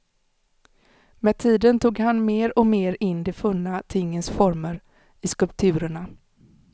Med tiden tog han mer och mer in de funna tingens former i skulpturerna.